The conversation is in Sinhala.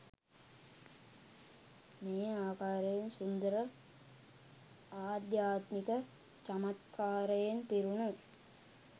මේ ආකාරයෙන් සුන්දර ආධ්‍යාත්මික චමත්කාරයෙන් පිරුණු